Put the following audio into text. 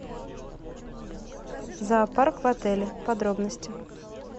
зоопарк в отеле подробности